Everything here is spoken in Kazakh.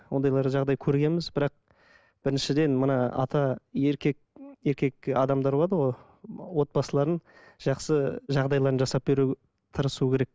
ондайлар жағдай көргенбіз бірақ біріншіден мына ата еркек еркек адамдар болады ғой отбасыларын жақсы жағдайларын жасап беру тырысу керек